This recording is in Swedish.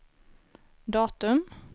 datum